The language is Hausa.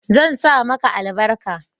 zan sa maka albarka